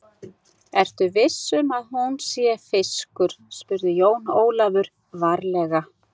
Ertu viss um að hún sé fiskur, spurði Jón Ólafur varlega.